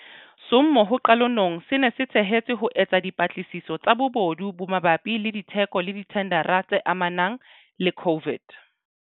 Sommo ho qalonong se ne se thehetswe ho etsa dipatlisiso tsa bobodu bo mabapi le ditheko le dithendara tse amanang le COVID.